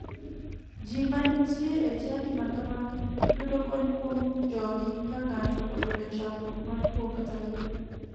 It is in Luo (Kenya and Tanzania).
Ji manitie e chadi makamagi yudo kony kuom jogi ka ng'ato oyudo chandruok mar tuo kata liel